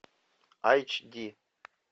айч ди